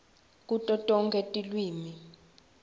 kuto tonkhe tilwimi